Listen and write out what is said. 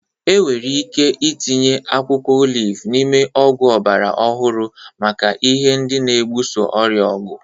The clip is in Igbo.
Enwere ike itinye akwụkwọ oliv n'ime ọgwụ ọgbara ọhụrụ maka ihe ndị na-ebuso ọrịa ọgụ.